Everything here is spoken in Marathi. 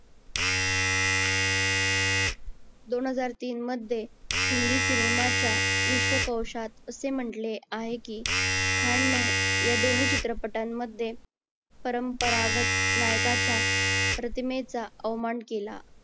दोन हजार तीन मध्ये हिंदी सिनेमाच्या विश्वकोशात असते म्हटले आहे कि खान ने या दोन्ही चित्रपटांमध्ये परंपरागत नायकाच्या प्रतिमेचा आव्हान केला.